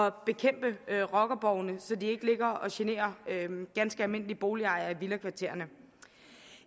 at bekæmpe rockerborgene så de ikke ligger og generer ganske almindelige boligejere i villakvartererne